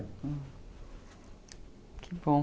Que bom.